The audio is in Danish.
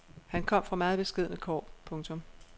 Han kom fra meget beskedne kår. punktum